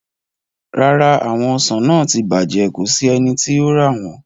Rara, awọn ọsan naa ti bajẹ, ko si ẹni ti yóò ra wọn